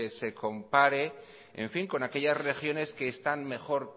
se compare en fin con aquellas regiones que están mejor